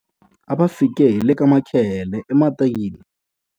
A va fike hi le ka makhehele ematini.